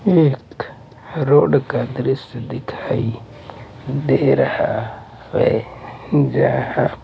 एक रोड का दृश्य दिखाई दे रहा है जहां।